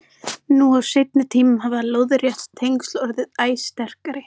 Nú á seinni tímum hafa lóðrétt tengsl orðið æ sterkari.